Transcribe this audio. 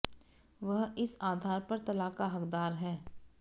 वह इस आधार पर तलाक का हकदार है